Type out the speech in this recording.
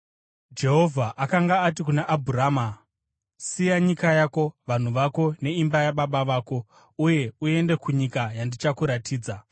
Jehovha akanga ati kuna Abhurama, “Siya nyika yako, vanhu vako neimba yababa vako uye uende kunyika yandichakuratidza.